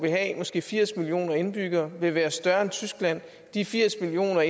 måske firs millioner indbyggere vil være større end tyskland de firs millioner